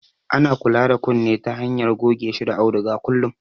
Ana kula da kunne ta hanyar goge shi da auduga kullum